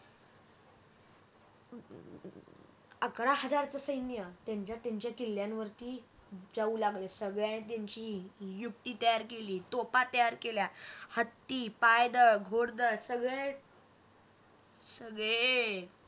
अकरा हजारच सैन्य त्यांच्या त्यांच्या किल्ल्यांवरती जाऊ लागले संगळ्यानी त्यांची युक्ति तयार केली तोफा तयार केल्या हत्ती पायदळ घोडदळ सगळे सगळे